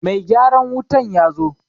Mai gyaran wutan ya zo.